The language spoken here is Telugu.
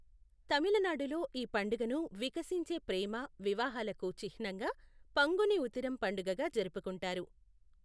తమిళనాడులో ఈ పండుగను వికసించే ప్రేమ, వివాహాలకు చిహ్నంగా పంగుని ఉతిరం పండుగగా జరుపుకుంటారు.